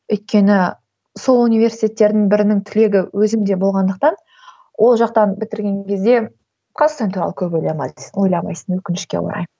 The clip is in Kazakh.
өйткені сол университеттердің бірінің түлегі өзім де болғандықтан ол жақтан бітірген кезде қазақстан туралы көп ойламайды ойламайсың өкінішке орай